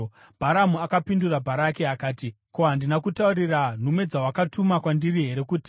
Bharamu akapindura Bharaki akati, “Ko, handina kutaurira nhume dzawakatuma kwandiri here kuti,